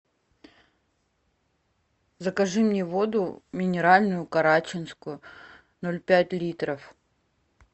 закажи мне воду минеральную карачинскую ноль пять литров